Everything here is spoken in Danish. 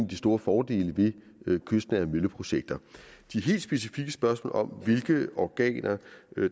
de store fordele ved kystnære vindmølleprojekter de helt specifikke spørgsmål om hvilke organer